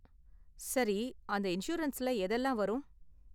சரி, அந்த இன்சூரன்ஸ்ல எதெல்லாம் வரும்?